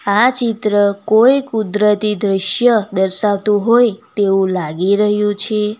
આ ચિત્ર કોઈ કુદરતી દ્રશ્ય દર્શાવતું હોય તેવું લાગી રહ્યું છે.